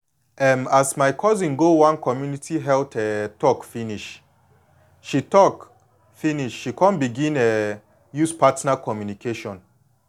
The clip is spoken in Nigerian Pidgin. um as my cousin go one community health um talk finish she talk finish she come begin um use partner communication